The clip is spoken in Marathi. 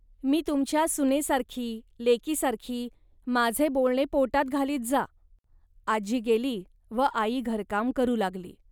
मी तुमच्या सुनेसारखी, लेकीसारखी, माझे बोलणे पोटात घालीत जा. आजी गेली व आई घरकाम करू लागली